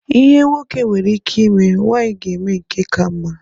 Ihe nwoke nwere ike ime, nwaanyị ga eme nke ka mma.